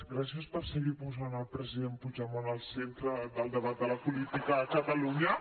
gràcies per seguir posant al president puigdemont al centre del debat de la política a catalunya